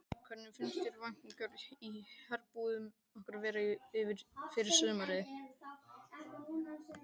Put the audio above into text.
Hvernig finnst þér væntingarnar í herbúðum ykkar vera fyrir sumarið?